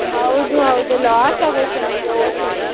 ಹೌದು, ಹೌದು loss ಆಗ್ಹೋಯ್ತು ನಮ್ಗೆ ಹೊದ್ಸತ್ತಿ.